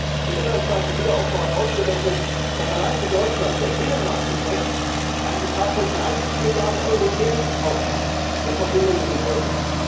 Die Kreditanstalt für Wiederaufbau hat ausgerechnet, dass allein für Deutschland der Binnenmarkteffekt einen Betrag von 30 Milliarden Euro jährlich ausmacht in Verbindung mit dem Euro.